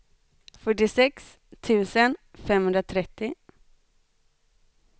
fyrtiosex tusen femhundratrettio